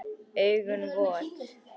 Augun vot.